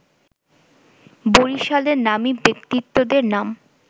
বরিশালের নামী ব্যক্তিত্বদের নাম